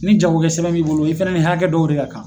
Ni jagokɛ sɛbɛn b'i bolo i fana ni hakɛ dɔw de ka kan